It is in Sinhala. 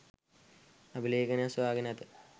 අභිලේඛනයක් සොයා ගෙන ඇත.